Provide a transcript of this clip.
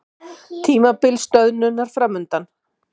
Tímabil stöðnunar framundan